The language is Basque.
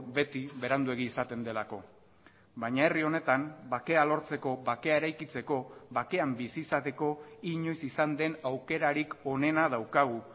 beti beranduegi izaten delako baina herri honetan bakea lortzeko bakea eraikitzeko bakean bizi izateko inoiz izan den aukerarik onena daukagu